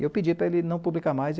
E eu pedi para ele não publicar mais.